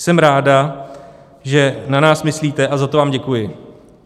Jsem ráda, že na nás myslíte, a za to vám děkuji."